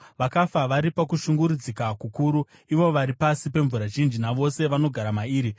“Vakafa vari pakushungurudzika kukuru, ivo vari pasi pemvura zhinji navose vanogara mairi.